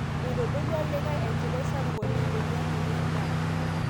Eitodolua likai enchipai sapuk oleng' peyie eng'amu endaa